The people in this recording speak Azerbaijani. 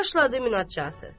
Və başladı münacat.